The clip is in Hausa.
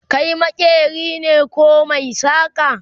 Kai maƙeri ne koh maisaka?